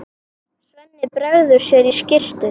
Svenni bregður sér í skyrtu.